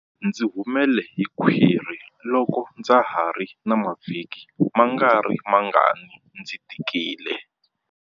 Ndzi humele hi khwiri loko ndza ha ri na mavhiki mangarimangani ndzi tikile.